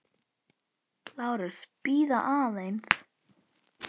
LÁRUS: Bíðið aðeins!